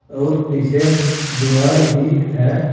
और पीछे दीवार भी है।